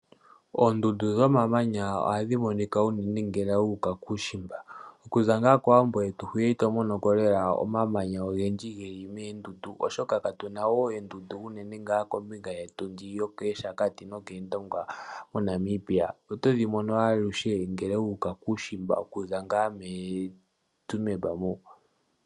Oondundu dho mamanya ohadhi monika unene ngele wu uka kuushimba. Okuza ngaa kowambo yetu hwiya ito monoko lela omamanya ogendji geli moondundu oshoka ka tuna oondundu unene ngaa kombinga yetu ndji yo KEeshakati no keendonga moNamibia . Otodhi mono alushe ngele wu uka kuushimba, okuza ngaa meeTsumeb mo.